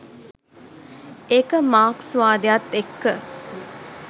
ඒක මාක්ස්වාදයත් එක්ක